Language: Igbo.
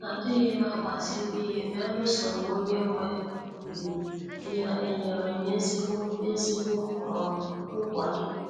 Adighim agbaziri ihe beluso ma onye nwe um ya enyere m ezigbo ezigbo um nkwado.